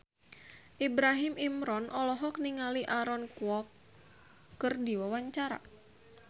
Ibrahim Imran olohok ningali Aaron Kwok keur diwawancara